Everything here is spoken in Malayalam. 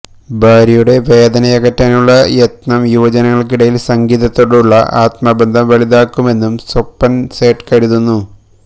ഭാര്യയുടെ വേദനയകറ്റാനുള്ള യത്നം യുവജനങ്ങൾക്കിടയിൽ സംഗീതത്തോടുള്ള ആത്മബന്ധം വലുതാക്കുമെന്നും സ്വപൻ സേട്ട് കരുതുന്നു